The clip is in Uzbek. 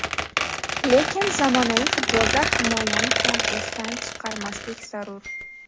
Lekin zamonaviy futbolda himoyani ham esdan chiqarmaslik zarur.